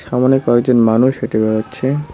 সামোনে কয়েকজন মানুষ হেঁটে বেড়াচ্ছে।